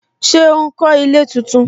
Ṣé ó ń kó ilé tuntun